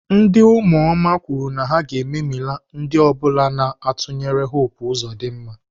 Ndị ụmụoma kwuru na ha ga-ememila ndị ọ bụla na-atụnyere Hope Uzodimma.